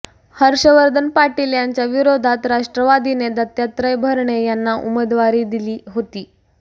हर्षवर्धन पाटील यांच्या विरोधात राष्ट्रवादीने दत्तात्रय भरणे यांना उमेदवारी दिली होती